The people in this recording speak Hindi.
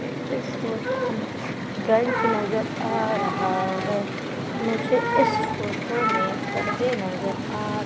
इस फोटो में ब्रेन्च नजर आ रहा है मुझे इस फोटो में पर्दे नजर आ र --